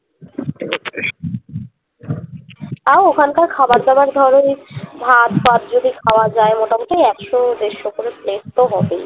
তাও ওখান কার খাবারদাবার ধর ওই ভাত টাত যদি খাওয়া যায় মোটামুটি একশো দেড়শো করে plate তো হবেই